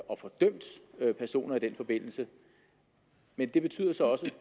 og få dømt personer i den forbindelse men det betyder så også